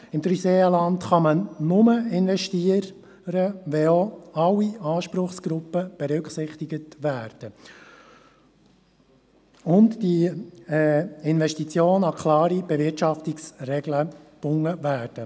Im Dreiseenland kann man nur investieren, wenn auch alle Anspruchsgruppen berücksichtigt werden und diese Investitionen an klare Bewirtschaftungsregeln gebunden werden.